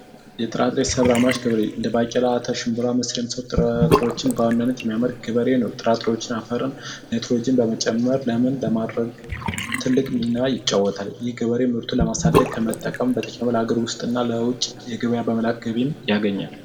የጥራጥሬ ሰብል አምራች ገበሬ ባቄላ ሽንብራ እና የመሳሰሉትን የሚያመርት ገበሬ ነው ጥራጥሬዎች አፈርን ናይትሮጅንን በመጨመር እና በማድረግ ትልቅ ሚና ይጫወታል የበሬው ምርቱን ለማሳደግ ከመጠቀሙም በተጨማሪ ለውጭ ለገበያ በመላክ ተጨማሪ ገቢ ያገኛል።